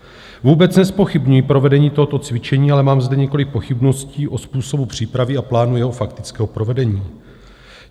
Vůbec nezpochybňuji provedení tohoto cvičení, ale mám zde několik pochybností o způsobu přípravy a plánu jeho faktického provedení.